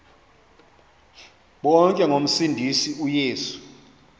bonke ngomsindisi uyesu